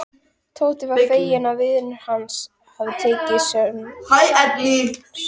Tóti var feginn að vinur hans hafði tekið sönsum.